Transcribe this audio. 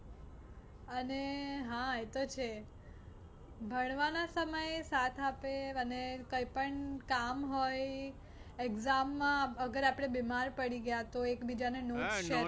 અને હા એ તો છે. ભણવાના સમયે સાથ આપે અને કંઈ પણ કામ હોય exam માં અગર આપણે બીમાર પડી ગયા તો એક બીજા ને notes share